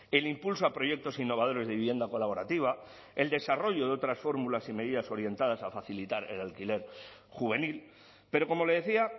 el impulso a proyectos innovadores de vivienda colaborativa el desarrollo de otras fórmulas y medidas orientadas a facilitar el alquiler juvenil pero como le decía